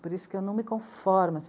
Por isso que eu não me conformo.